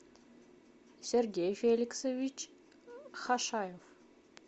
сергей феликсович хашаев